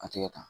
A tɛ kɛ tan